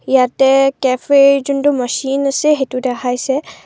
ইয়াতে কেফেৰ যোনটো মেচিন আছে সেইটো দেখাইছে।